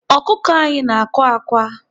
Ọkụkọ anyị na-àkwá ákwā.